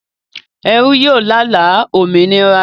Ẹrú yóò lála òmìnira